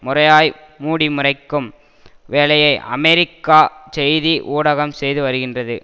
முறையாய் மூடிமறைக்கும் வேலையை அமெரிக்கா செய்தி ஊடகம் செய்து வருகின்றது